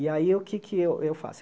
E aí, o que é que eu faço?